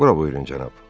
Bura buyurun cənab.